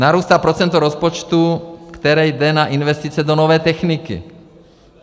Narůstá procento rozpočtu, které jde na investice do nové techniky.